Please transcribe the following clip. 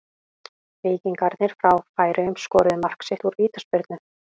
Víkingarnir frá Færeyjum skoruðu mark sitt úr vítaspyrnu.